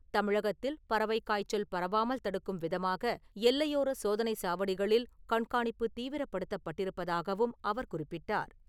தமிழகத்தில் பறவை காய்ச்சல் பரவாமல் தடுக்கும் விதமாக எல்லையோர சோதனைச் சாவடிகளில் கண்காணிப்பு தீவிரப்படுத்தப்பட்டிருப்பதாகவும் அவர் குறிப்பிட்டார்.